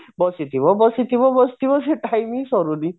ବସିଥିବ ବସିଥିବ ବସିଥିବ ସେ time ହିଁ ସରୁନି